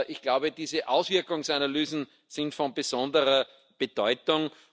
Ich glaube, diese Auswirkungsanalysen sind von besonderer Bedeutung.